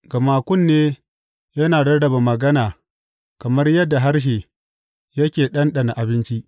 Gama kunne yana rarrabe magana kamar yadda harshe yake ɗanɗana abinci.